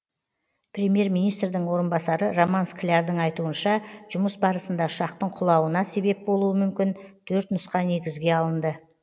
премьер министрдің орынбасары роман склярдың айтуынша жұмыс барысында ұшақтың құлауына себеп болуы мүмкін төрт нұсқа негізге алынды